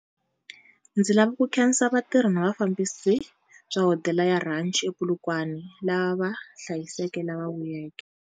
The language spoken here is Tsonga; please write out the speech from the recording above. Ndzi lava ku khensa vatirhi na vufambisi bya Hodela ya Ranch ePolokwane, lava hlayiseke lava vuyeke.